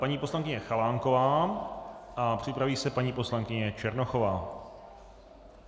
Paní poslankyně Chalánková a připraví se paní poslankyně Černochová.